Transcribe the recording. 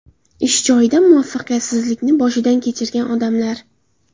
Ish joyida muvaffaqiyatsizlikni boshidan kechirgan odamlar .